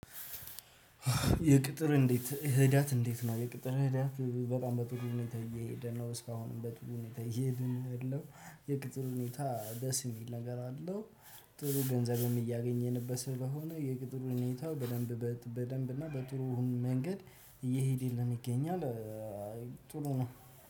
የቅጥር እንዴት ሂደት እንዴት ነው? የቅጥር ሂደት በጣም በጥሩ ሁኔታ እየሄድን ነው። እስካሁንም በጥሩ ሁኔታ እየሄድን ያለው የቅጥር ሁኔታ ደስ የሚል ነገር አለው። ጥሩ ገንዘብም እያገኘንበት ስለሆነ የቅጥሩ ሁኔታው በደንብ በደንብ እና በጥሩ መንገድ እየሄደልን ይገኛል። ጥሩ ነው